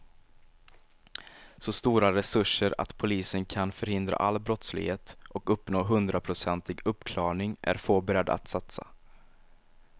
Så stora resurser att polisen kan förhindra all brottslighet och uppnå hundraprocentig uppklarning är få beredda att satsa.